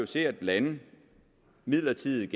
set at et land midlertidigt